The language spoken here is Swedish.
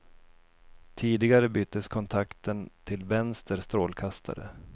Tidigare byttes kontakten till vänster strålkastare.